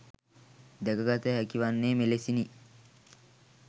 දැකගත හැකිවන්නේ මෙලෙසිනි.